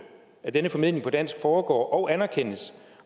at denne formidling på dansk foregår og anerkendes